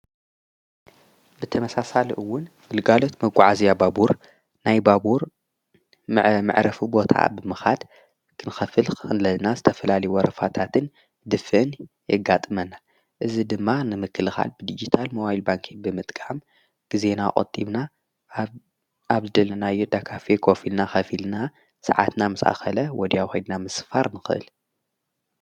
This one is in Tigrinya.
ብተመሳሳሊ ውን ብግልጋሎት መጕዓዝያ ባቡር ናይ ባቡር መዕረፉ ቦታ ብምኻድ ኽንከፍል ከለና ዝተፈላለየ ወረፋታትን ድፍእን የጋጥመና እዚ ድማ ንምክልኻል ብድጅታል ሞባይል ባንኪ ብምጥቃም ጊዜና ቆጢብና ኣብ ደልናዮ ዳካፊ ኮፊልና ኸፊልና ሰዓትና ምስ ኣኸለ ወዲያው ከድና ምስፋር ንኽእል።